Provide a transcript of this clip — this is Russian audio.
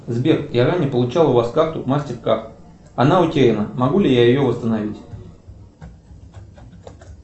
сбер я ранее получал у вас карту мастеркард она утеряна могу ли я ее восстановить